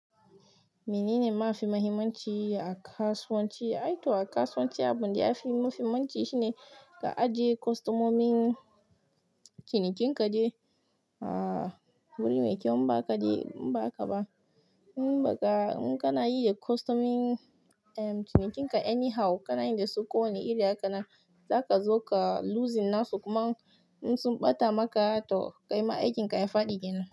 Menene mafi muhimmanci a kasuwanci? Aito a kasuwanci abin da yafi muhimmanci shine ka ajiye kostomomin cinikin ka dai aaa, wuri mai kyau in baka de inba haka ba in baka, in kana iya kwastomomi am cinikin ka anyhow kanayi dasu ko wani iri hakanan zaka zo ka loosing nashi kuma in sun ɓata maka toh kai ma aikin kaya faɗi kenan,